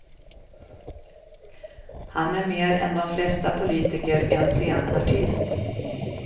Han är mer än de flesta politiker en scenartist.